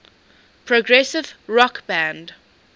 progressive rock band